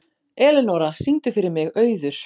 Elenóra, syngdu fyrir mig „Auður“.